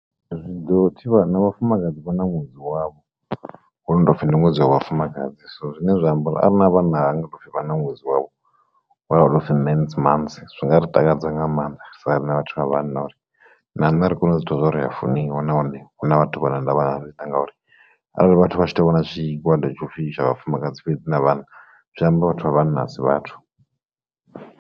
Zwi ḓo thivha na vhafumakadzi vha na ṅwedzi wavho wono to upfhi ndi ṅwedzi wa vhafumakadzi so zwine zwa amba uri arina vhanna hanga topfi vha na ṅwedzi wavho mans months zwinga ri takadza nga maanḓa sa rine vhathu vha vhanna uri na nṋe ri kone u zwi vhona zwa uri ri a funiwa nahone huna vhathu vha na ndavha na rine ngauri arali vhathu vha tshi to vhona zwigwada tsho pfhi ndi tsha vhafumakadzi na vhana zwi amba vhathu vha vhanna asi vhathu.